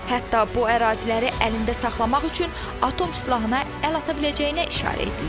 Hətta bu əraziləri əlində saxlamaq üçün atom silahına əl ata biləcəyinə işarə edilir.